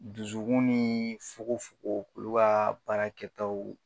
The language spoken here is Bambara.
Dusukun ni fokon fokon, olu ka baarakɛtaw